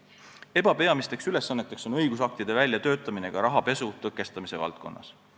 EBA peamine ülesanne on õigusaktide väljatöötamine ka rahapesu tõkestamise valdkonnas.